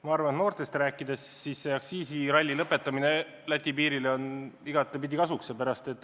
Ma arvan, et kui noortest rääkida, siis tuleb igatepidi kasuks, kui see ralli Läti piirile ära lõppeb.